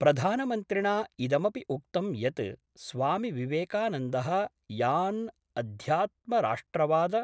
प्रधानमन्त्रिणा इदमपि उक्तं यत् स्वामिविवेकानन्दः यान् अध्यात्मराष्ट्रवाद